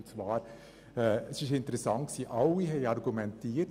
Alle haben argumentiert: im Interesse des Kantons Bern.